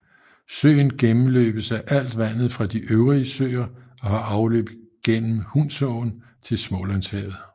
Søen gennemløbes af alt vandet fra de øvrige søer og har afløb gennem Hunsåen til Smålandshavet